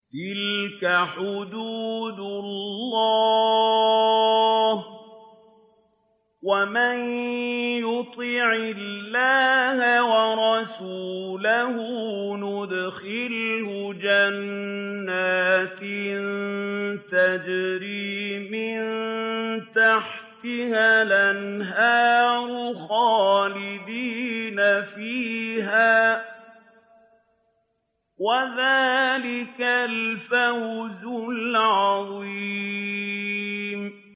تِلْكَ حُدُودُ اللَّهِ ۚ وَمَن يُطِعِ اللَّهَ وَرَسُولَهُ يُدْخِلْهُ جَنَّاتٍ تَجْرِي مِن تَحْتِهَا الْأَنْهَارُ خَالِدِينَ فِيهَا ۚ وَذَٰلِكَ الْفَوْزُ الْعَظِيمُ